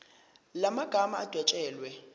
la magama adwetshelwe